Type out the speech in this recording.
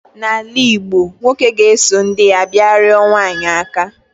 n'ala Igbo, nwoke ga-eso ndi ya bia rioro nwanyi aka